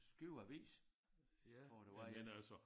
Skive Avis tror jeg der var en